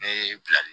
Ne ye bilali ye